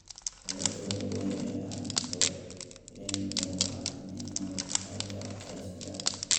Ciladda ugu weyn ee endocrineka waa amenorrheaka aasaasiga ah.